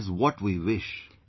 This is what we wish